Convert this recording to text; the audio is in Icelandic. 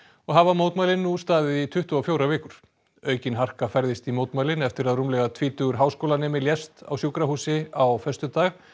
og hafa mótmælin nú staðið í tuttugu og fjórar vikur aukin harka færðist í mótmælin eftir að rúmlega tvítugur háskólanemi lést á sjúkrahúsi á föstudag